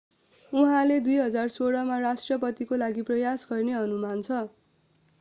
उहाँले 2016 मा राष्ट्रपतिको लागि प्रयास गर्ने अनुमान छ